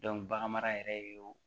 bagan mara yɛrɛ o